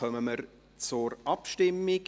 Somit kommen wir zur Abstimmung.